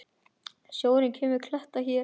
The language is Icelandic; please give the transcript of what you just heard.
Sjórinn lemur kletta hér.